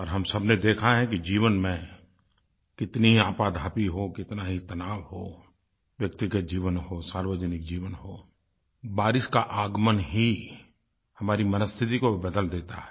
और हम सबने देखा है कि जीवन में कितनी ही आपाधापी हो कितना ही तनाव हो व्यक्तिगत जीवन हो सार्वजनिक जीवन हो बारिश का आगमन ही हमारी मनःस्थिति को भी बदल देता है